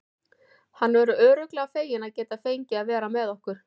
Hann verður örugglega feginn að geta fengið að vera með okkur.